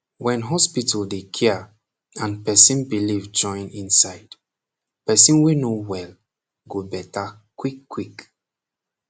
wen hospital dey cia and person belief join insid person wey no wel go beta quick quick